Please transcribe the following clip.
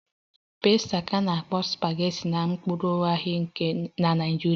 "Pasta ka na-akpọ "supageti"na mpaghara na Naịjirịa